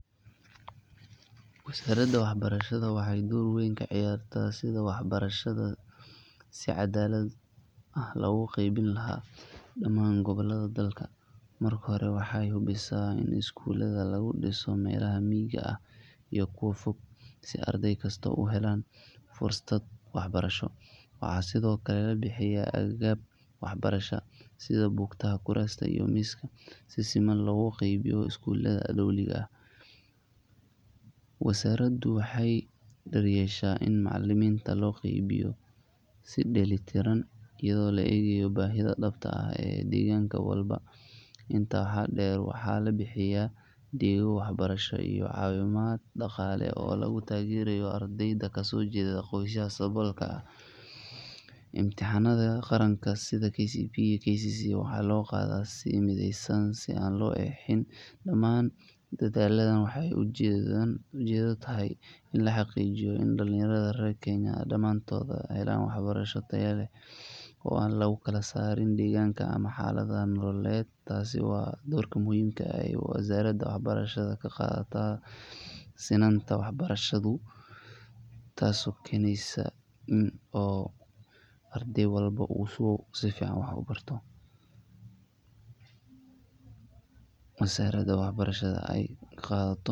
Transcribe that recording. wasaaradda waxbarashaada waxey dor weyn ka ciyaarta sidha waxbarshada si cadalaad ah waxa lagu qebin laah daaman gowalaada dalka marka hore waaxa hubiisa ina iskulaada lagu diiso melaaha miiga ah iyo kuwa fog si ardeygo u helaan fursaad waxbarasha waxa sidhoo kale labixiya aggagaba baraasha Book taaha kurasta iyo miiska si simaan lagu qebiiyo iskulada dowliiga wasaarada waxey daryesha in macliminta oo loo qeybiyo si deeylitiraan iyadho la igaayo bahida daabt ee deeganka walbo intaa waxaa deer waxa labixiya deego waxbarash iyo cawiimaad daqaal oo lagu tageerayo ardeeyda kaso geedo qoysaha sabolka ah emtahaanada qaranka sidhaa KCPE ,KCSE waaxa lo qaada si maadheysan si aan lo eheeni daaman daadhal waaxey ujeedado tahay la haqiijiyo in dhalinyaarada rer Kenya daamto helaan waxbaraashad taya leh lagu kala sarin deeganka ama xaalad nololde taas oo ah dor ka muhimka ee wasaarada waxbarashaada kaqaadata sinanto waxbarshadu taas oo geyneyso oo ardheey walbo oo iskulka sifiican waaxa kugu barto wasaarada waxbaraashada ee kaqeb qadato